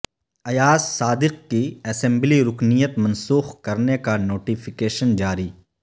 ایاز صادق کی اسمبلی رکنیت منسوخ کرنے کا نوٹیفیکیشن جاری